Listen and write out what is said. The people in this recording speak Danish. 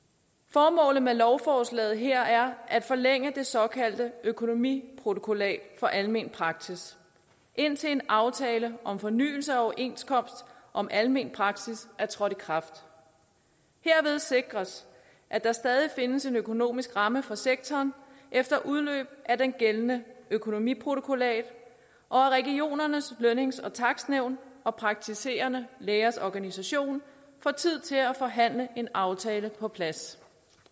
formålet med lovforslaget her at forlænge det såkaldte økonomiprotokollat for almen praksis indtil en aftale om fornyelse af overenskomsten om almen praksis er trådt i kraft herved sikres at der stadig findes en økonomisk ramme for sektoren efter udløbet af det gældende økonomiprotokollat og at regionernes lønnings og takstnævn og praktiserende lægers organisation får tid til at forhandle en aftale på plads